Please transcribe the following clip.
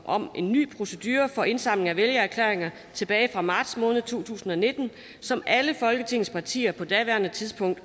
om en ny procedure for indsamling af vælgererklæringer tilbage fra marts måned to tusind og nitten som alle folketingets partier på daværende tidspunkt